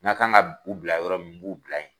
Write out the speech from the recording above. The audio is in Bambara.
N ka kan ka u bila yɔrɔ min n b'u bila ye.